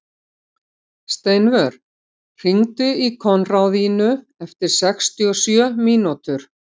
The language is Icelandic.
Steinvör, hringdu í Konráðínu eftir sextíu og sjö mínútur.